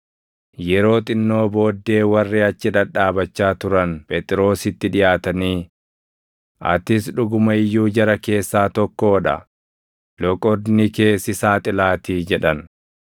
Yeroo xinnoo booddee warri achi dhadhaabachaa turan Phexrositti dhiʼaatanii, “Atis dhuguma iyyuu jara keessaa tokkoo dha; loqodni kee si saaxilaatii” jedhan.